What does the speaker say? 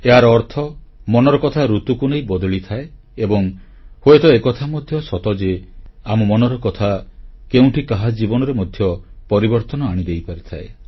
ଏହାର ଅର୍ଥ ମନର କଥା ଋତୁକୁ ନେଇ ବଦଳିଥାଏ ଏବଂ ହୁଏତ ଏ କଥା ମଧ୍ୟ ସତ ଯେ ଆମ ମନର କଥା କେଉଁଠି କାହା ଜୀବନରେ ମଧ୍ୟ ପରିବର୍ତ୍ତନ ଆଣିଦେଇପାରିଥାଏ